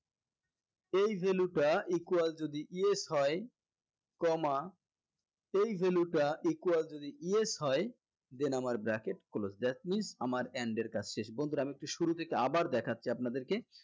এই value টা equal যদি yes হয় comma এই value টা equal যদি yes হয় then আমার bracket close that means আমার and এর কাজ শেষ বন্ধুরা আমি একটু শুরু থেকে আবার দেখাচ্ছি আপনাদেরকে